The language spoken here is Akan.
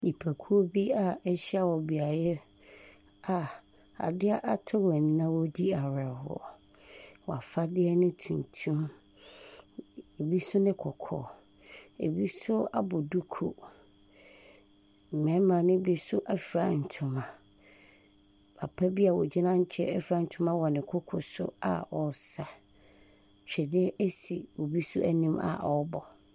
Nnipakuo bi a wɔahyia wɔ beaeɛ a adeɛ atɔ wɔn ani na wɔredi awerɛhoɔ. Wɔn afadeɛ ne tuntum. Ɛbi nso ne kɔkɔɔ. Ɛbi nso abɔ duku. Mmarima no bi nso afira ntoma. Papa bi a ɔgyina nkyɛn fira ntoma wɔ ne koko so a ɔresa. Twene si obi nso anim a ɔrebɔ.